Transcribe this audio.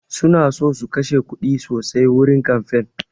Suna so su kashe kuɗi sosai wurin kamfain